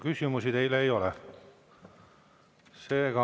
Küsimusi teile ei ole.